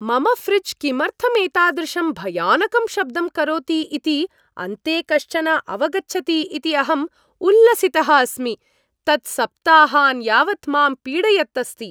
मम ऴ्रिज् किमर्थम् एतादृशं भयानकं शब्दं करोति इति अन्ते कश्चन अवगच्छति इति अहं उल्लसितः अस्मि। तत् सप्ताहान् यावत् मां पीडयत् अस्ति!